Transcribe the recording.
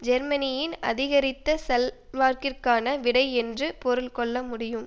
ஜெர்மனியின் அதிகரித்த செல்வாக்கிற்கான விடை என்று பொருள் கொள்ள முடியும்